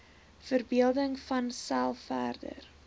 verbeelding vanself verder